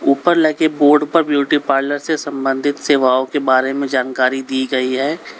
उपर पर लगे बोर्ड पर ब्यूटी पार्लर से संबंधित सेवाओं के बारे में जानकारी दी गई है।